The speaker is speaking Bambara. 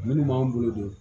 Minnu b'an bolo don